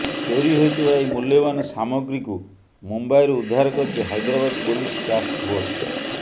ଚୋରି ହୋଇଥିବା ଏହି ମୂଲ୍ୟବାନ ସାମଗ୍ରୀକୁ ମୁମ୍ବାଇରୁ ଉଦ୍ଧାର କରିଛି ହାଇଦ୍ରାବାଦ ପୋଲିସ ଟାସ୍କ ଫୋର୍ସ